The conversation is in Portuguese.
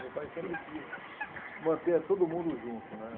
Meu pai sempre quis manter todo mundo junto, né?